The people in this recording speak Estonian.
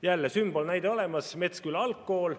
Jälle on sümbolnäide olemas: Metsküla algkool.